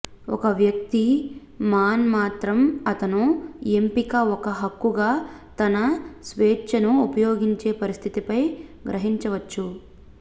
ఒక వ్యక్తి మాన్ మాత్రమే అతను ఎంపిక ఒక హక్కుగా తన స్వేచ్ఛను ఉపయోగించే పరిస్థితిపై గ్రహించవచ్చు